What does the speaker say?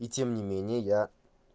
и тем не менее я